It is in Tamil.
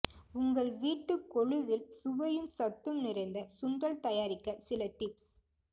உங்கள் வீட்டு கொலுவில் சுவையும் சத்தும் நிறைந்த சுண்டல் தயாரிக்க சில டிப்ஸ்